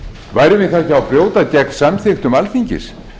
værum við þá ekki að brjóta gegn samþykktum alþingis